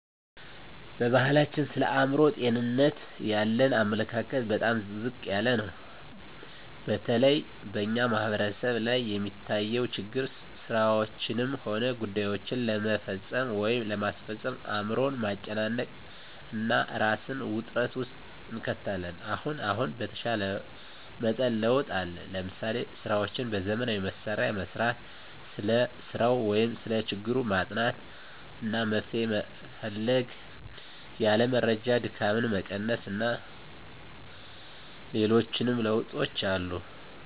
በባሕላችን ስለ አእምሮ ጤንነት ያለን አመለካከት በጣም ዝቅ ያለ ነው። በተለይ በእኛ ማሕበረሰብ ላይ የሚታየው ችግር ስራዎችንም ሆነ ጉዳይዎችን ለመፈፀም ወይም ለማስፈፀም አእምሮን ማጨናነቅ እና እራስን ውጥረት ውስጥ እንከታለን። አሁን አሁን በተሻለ መጠን ለውጥ አለ። ለምሳሌ፦ ስራዎችን በዘመናዊ መሣሪያ መሥራት፣ ስለ ሰራው ወይም ሰለ ችግሩ ማጥናት አና መፍትሔ መፈለግ፣ ያለ መረጃ ድካምን መቀነስ አና ሌሎችም ለውጦች አሉ።